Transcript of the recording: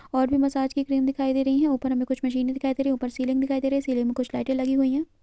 और भी मसाज की क्रीम दिखाई दे रही हैं ऊपर हमें कुछ मशीने दिखाई दे रही हैं ऊपर सीलिंग दिखाई दे रही है सीलिंग में कुछ लाइटे लगी हुई हैं।